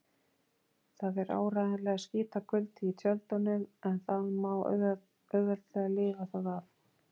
Það er áreiðanlega skítakuldi í tjöldunum en það má auðveldlega lifa það af.